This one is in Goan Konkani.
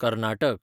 कर्नाटक